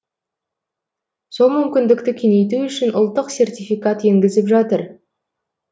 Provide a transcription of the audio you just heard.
сол мүмкіндікті кеңейту үшін ұлттық сертификат енгізіп жатыр